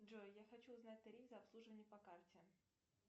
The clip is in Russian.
джой я хочу узнать тариф за обслуживание по карте